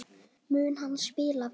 Mun hann spila vel?